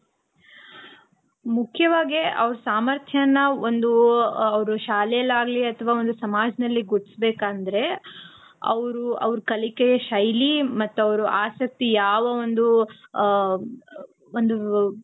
ಮುಖ್ಯವಾಗಿ ಅವರು ಸಾಮಾರ್ಥ್ಯಾನ ಒಂದು ಅವರು ಶಾಲೆಲಿ ಆಗ್ಲಿ ಅತವ ಒಂದು ಸಮಾಜದಲ್ಲಿ ಗುರತಿಸ್ಬೇಕು ಅಂದ್ರೆ ಅವರು ಅವರು ಕಲಿಕೆ ಶೈಲಿ ಮತ್ತು ಅವರು ಆಸಕ್ತಿ ಯಾವ ಒಂದು ಆ ಒಂದು